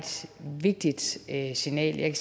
vigtigt signal jeg